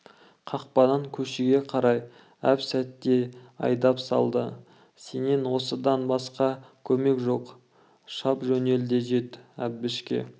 қақпадан көшеге қарай әп-сәтте айдап салды сенен осыдан басқа көмек жоқ шап жөнел де жет әбішке